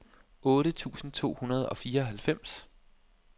otte tusind to hundrede og fireoghalvfems